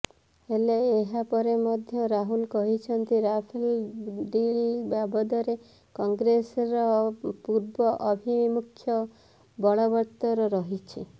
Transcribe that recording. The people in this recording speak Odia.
ହେଲେ ଏହା ପରେ ମଧ୍ୟ ରାହୁଲ କହିଛନ୍ତି ରାଫେଲ ଡିଲ୍ ବାବଦରେ କଂଗ୍ରେସର ପୂର୍ବ ଆଭିମୁଖ୍ୟ ବଳବତ୍ତର ରହିଛି